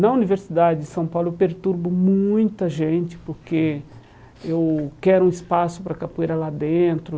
Na Universidade de São Paulo, eu perturbo muita gente porque eu quero um espaço para capoeira lá dentro.